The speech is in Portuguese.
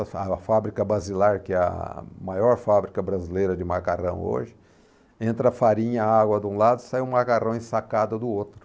A fá a fábrica basilar, que é a maior fábrica brasileira de macarrão hoje, entra a farinha e a água de um lado e sai o macarrão ensacado do outro.